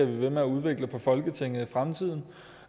ved med at udvikle folketinget i fremtiden